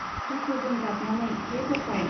दुखुजों गाबनानै हे गोसाइ.